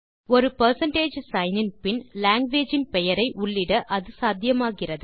ஒரு percentage sign இன் பின் லாங்குவேஜ் இன் பெயரை உள்ளிட அது சாத்தியமாகிறது